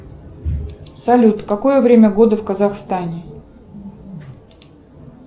салют какое время года в казахстане